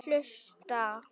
Til þess að hlusta.